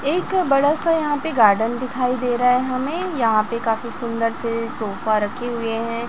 एक बड़ा सा यहां पे गार्डन दिखाई दे रहा है हमें यहां पे काफी सुंदर से सोफा रखे हुए हैं।